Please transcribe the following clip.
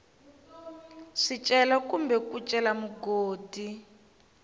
swicelwa kumbe ku cela mugodi